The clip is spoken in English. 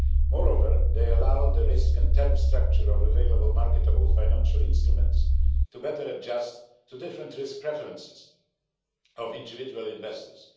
Moreover, they allow the risk and term structure of available marketable financial instruments to better adjust to the different risk preferences of individual investors.